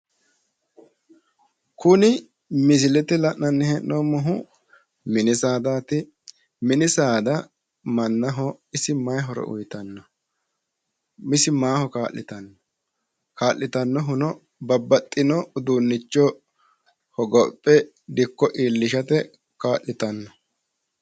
kuni misilete la'nanni heennoommohu mini saaadaati mini saada isi mannaho mayi horo uyiitanno ka'litannohuno babaxino uduunnicho hogophe dikko iillishate kaa'litanno.